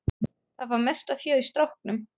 Það var mesta fjör í stráknum.